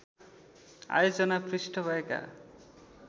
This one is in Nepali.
आयोजना पृष्ठ भएका